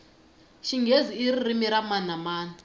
xinghezi iririmi ra mani na mani